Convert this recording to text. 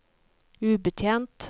ubetjent